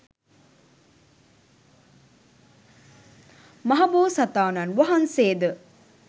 මහ බෝසතාණන් වහන්සේ ද